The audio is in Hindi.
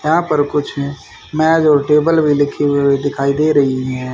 यहां पर कुछ मेज और टेबल भी लिखे हुए भी दिखाई दे रही हैं।